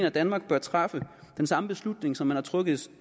at danmark bør træffe den samme beslutning som man har truffet